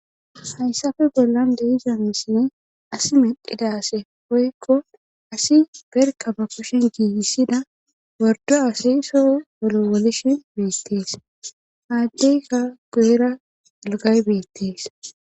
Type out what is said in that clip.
hayssafe bollan deiza misine asi medhidase poyekko asi berka ba kushen giigissida wordo asayso wolo wolishin beettees aaddeyka gu7era ilgay beettees